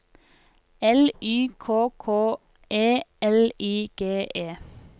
L Y K K E L I G E